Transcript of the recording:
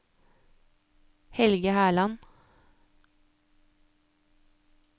Helge Herland